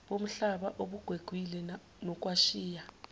bomhlaba obugwegwile nokwashiya